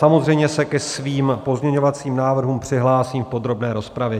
Samozřejmě se ke svým pozměňovacím návrhům přihlásím v podrobné rozpravě.